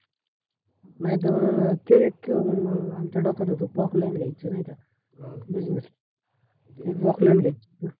नायतर मंग ते एक मंग आमच्या डोक्यात होत prokline घ्यायच नाय का? business prokline घ्यायच